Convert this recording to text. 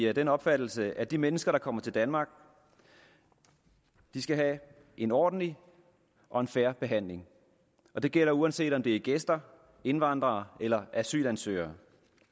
af den opfattelse at de mennesker der kommer til danmark skal have en ordentlig og en fair behandling det gælder uanset om det er gæster indvandrere eller asylansøgere